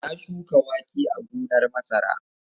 Ya shuka wake a gonar masara.